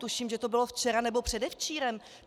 Tuším, že to bylo včera nebo předevčírem.